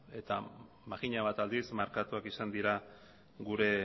eta makina bat aldiz markatuak izan dira gure